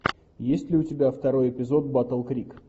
есть ли у тебя второй эпизод батл крик